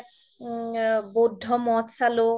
বৌদ্ধ মৌধ চালো